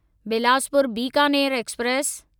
Bilaspur Bikaner express